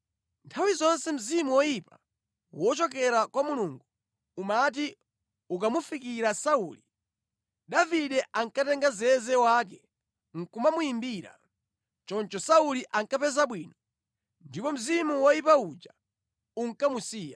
Nthawi zonse mzimu woyipa wochokera kwa Mulungu umati ukamufikira Sauli, Davide ankatenga zeze wake nʼkumamuyimbira. Choncho Sauli ankapeza bwino, ndipo mzimu woyipa uja unkamusiya.